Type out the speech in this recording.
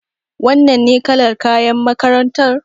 Wannan ne kalar kayan makarantar?